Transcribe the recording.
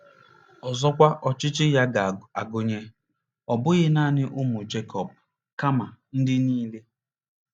Ọzọkwa, ọchịchị ya ga-agụnye, ọ bụghị nanị ụmụ Jekọb, kama “ ndị nile. "